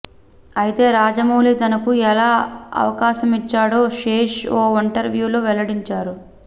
అయితే రాజమౌళి తనకు ఎలా అవకాశమిచ్చాడో శేష్ ఓ ఇంటర్వ్యూలో వెల్లడించాడు